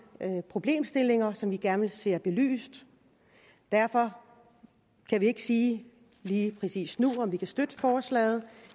problemstillinger som vi gerne ser belyst derfor kan vi ikke sige lige præcis nu om vi kan støtte forslaget